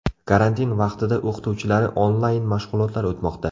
Karantin vaqtida o‘qituvchilari onlayn mashg‘ulotlar o‘tmoqda.